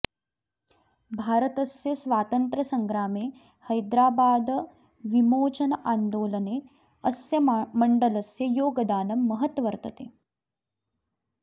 भारतस्य स्वातन्त्रसङ्ग्रामे हैदराबाद्विमोचनान्दोलने अस्य मण्डलस्य योगदानं महत् वर्तते